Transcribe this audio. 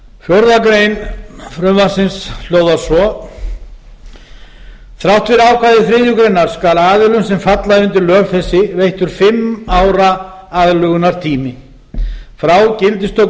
íslensku fjórða grein frumvarpsins hljóðar svo þrátt fyrir ákvæði þriðju grein skal aðilum sem falla undir lög þessi veittur fimm ára aðlögunartími frá gildistöku